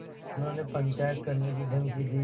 उन्होंने पंचायत करने की धमकी दी